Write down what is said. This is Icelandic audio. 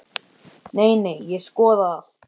Nei, nei, ég skoða allt.